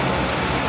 Quraşdırılıb.